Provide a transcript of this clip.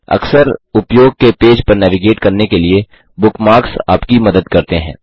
अक्सर उपयोग के पेज पर नेविगेट करने के लिए बुकमार्क्स आपकी मदद करते हैं